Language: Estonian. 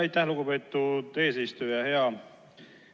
Aitäh, lugupeetud eesistuja!